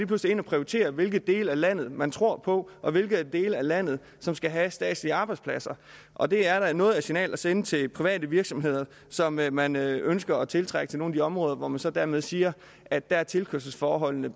pludselig ind og prioriterer hvilke dele af landet man tror på og hvilke dele af landet der skal have statslige arbejdspladser og det er da noget af et signal at sende til private virksomheder som man man ønsker at tiltrække til nogle af de områder hvor man så dermed siger at der er tilkørselsforholdene